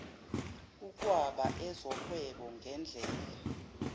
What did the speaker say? ukwaba ezohwebo ngedlela